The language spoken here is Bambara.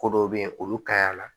Ko dɔw bɛ yen olu kaɲa la